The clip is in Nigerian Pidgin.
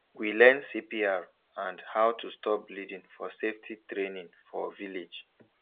we learn cpr and how to stop bleeding for safety training for village